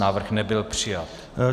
Návrh nebyl přijat.